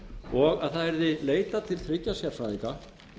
og að það yrði leitað til þriggja sérfræðinga